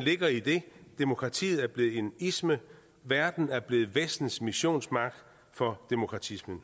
ligger i at demokratiet er blevet en isme verden er blevet vestens missionsmark for demokratisme